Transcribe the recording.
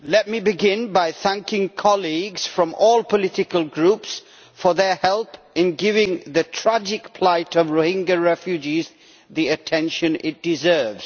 Mr President, let me begin by thanking colleagues from all political groups for their help in giving the tragic plight of Rohingya refugees the attention it deserves.